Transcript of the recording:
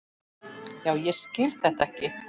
Já, ég skil þetta ekki.